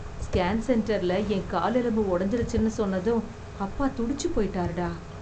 scan சென்டரில என் கால் எலும்பு உடைஞ்சிருச்சுனு சொன்னது அப்பா துடுச்சு போயிட்டார்டா